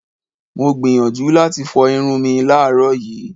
Mo gbìyànjú láti fọ irun mi láàárọ̀ yìí.